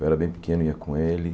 Eu era bem pequeno e ia com ele.